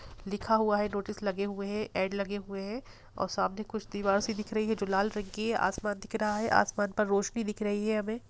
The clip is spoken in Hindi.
लिखा हुआ है नोटिस लगे हुए हैं लगे हुए है और सामने कुछ दीवार दिख रही है जो लाल रंग की हैआसमान दिख रहा है आसमान पर रोशनी दिख रही है हमे।